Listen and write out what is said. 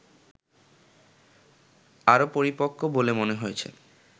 আরো পরিপক্ক বলে মনে হয়েছে